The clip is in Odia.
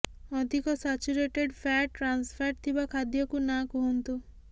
ଅଧିକ ସାଚ୍ୟୁରେଟଡ୍ ଫ୍ୟାଟ୍ ଟ୍ରାନ୍ସଫ୍ୟାଟ୍ ଥିବା ଖାଦ୍ୟକୁ ନା କୁହନ୍ତୁ